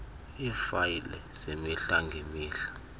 iifayile zemihla ngemihla